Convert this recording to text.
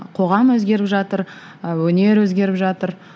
қоғам өзгеріп жатыр ы өнер өзгеріп жатыр